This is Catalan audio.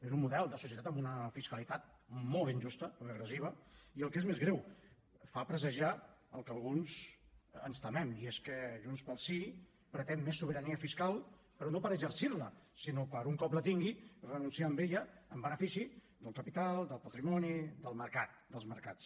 és un model de societat amb una fiscalitat molt injusta regressiva i el que és més greu fa presagiar el que alguns ens temem i és que junts pel sí pretén més sobirania fiscal però no per exercir la sinó per un cop la tingui renunciar a ella en benefici del capital del patrimoni del mercat dels mercats